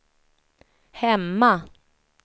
hemma